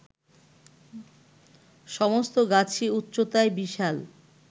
সমস্ত গাছই উচ্চতায় বিশাল